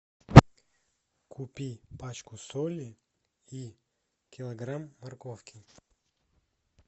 купи пачку соли и килограмм морковки